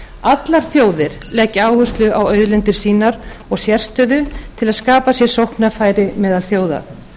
allar þjóðir leggja áherslu á auðlindir sínar og sérstöðu til að skapa sér sóknarfæri meðal þjóða